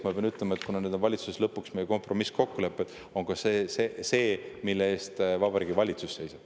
Ma pean ütlema, et kuna need on valitsuses lõpuks kompromisskokkulepped, siis see on ka see, mille eest Vabariigi Valitsus seisab.